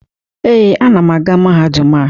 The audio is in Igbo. Ee, anam aga mahadum a.